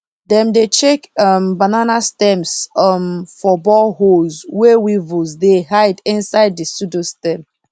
dem dey check um banana stems um for boreholes wey weevils dey hide inside the pseudostem